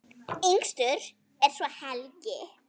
Yngstur er svo Helgi.